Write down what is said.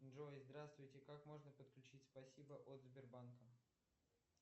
джой здравствуйте как можно подключить спасибо от сбербанка